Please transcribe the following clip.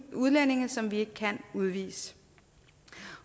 udlændinge som vi ikke kan udvise